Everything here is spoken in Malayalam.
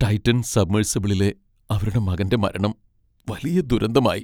ടൈറ്റൻ സബ്മെർസിബിളിലെ അവരുടെ മകൻ്റെ മരണം വലിയ ദുരന്തമായി.